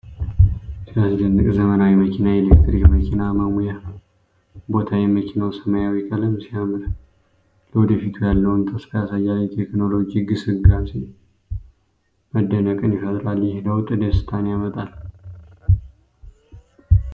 ሲያስደንቅ! ዘመናዊ መኪና! የኤሌክትሪክ መኪና መሙያ ቦታ! የመኪናው ሰማያዊ ቀለም ሲያምር! ለወደፊቱ ያለውን ተስፋ ያሳያል። የቴክኖሎጂ ግስጋሴ መደነቅን ይፈጥራል። ይህ ለውጥ ደስታን ያመጣል!